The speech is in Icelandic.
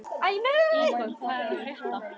Ígor, hvað er að frétta?